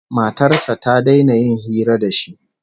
Matar sa ta daina yin hira da shi